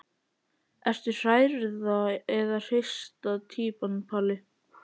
Ertu hrærða eða hrista týpan Palli?